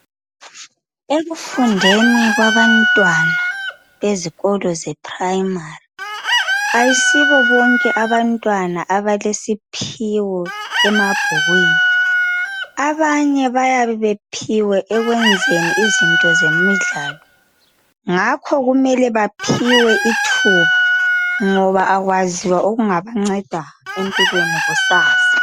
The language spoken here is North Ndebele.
Ekufundeni kwabantwana ezikolo ze primary, ayisibo bonke abantwana abalesiphiwo emabhukwini. Abanye bayabe bephiwe ekwenzeni izinto ze midlalo, ngakho kumele baphiwe ithuba ngoba akwaziwa okungakunceda empilweni kusasa.